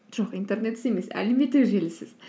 жоқ интернетсіз емес әлеуметтік желісіз